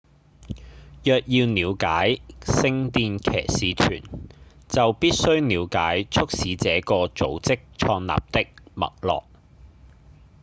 若要了解聖殿騎士團就必須了解促使這個組織創立的脈絡